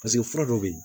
Paseke fura dɔ bɛ yen